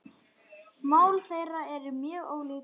Mál þeirra eru mjög ólík.